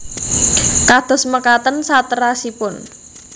Kados mekaten saterasipun